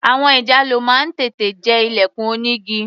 Àwọn ìjàlọ máa ń tètè jẹ ilẹ̀kùn onígi.